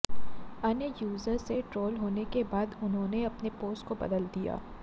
अन्य यूजर्स से ट्रोल होने के बाद उन्होंने अपने पोस्ट को बदल दिया